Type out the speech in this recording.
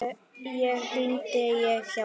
Þá hringdi ég á hjálp.